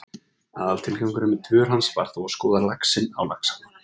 Aðaltilgangurinn með dvöl hans var þó að skoða laxinn á Laxalóni.